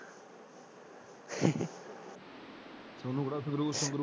Sonu Kehar Sangrur ਸਂਗਰੂ?